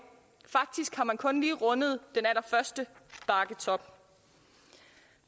faktisk har man kun lige rundet den allerførste bakketop